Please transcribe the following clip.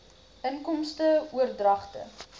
inkomste oordragte